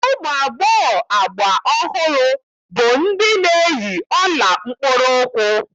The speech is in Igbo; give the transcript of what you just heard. Ụmụ agbọghọ agba ọhụrụ bụ ndị na-eyi ọla mkpụrụụkwụ